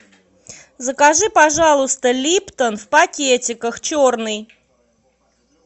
закажи пожалуйста липтон в пакетиках черный